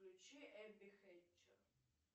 включи эбби хэтчер